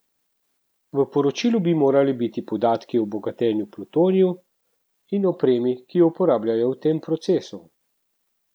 V poročilu bi morali biti podatki o bogatenju plutoniju in opremi, ki jo uporabljajo v tem procesu.